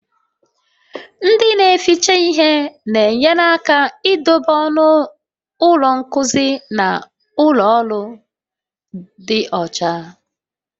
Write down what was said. Ndị na-ehicha ihe na-enyere aka idobe ọnụ ụlọ nkuzi na ụlọ ọrụ dị ọcha